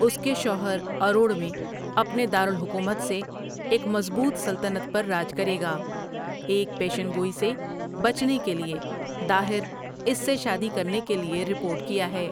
اس کے شوہر اروڑ میں اپنے دار الحکومت سے ایک مضبوط سلطنت پر راج کرے گا ایک پیشن گوئی سے بچنے کے لیے، داہر اس سے شادی کرنے کے لیے رپورٹ کیا ہے۔